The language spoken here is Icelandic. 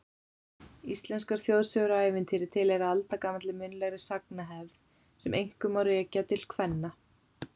Íslenskar þjóðsögur og ævintýri tilheyra aldagamalli munnlegri sagnahefð sem einkum má rekja til kvenna.